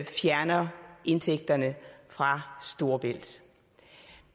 fjerner indtægterne fra storebælt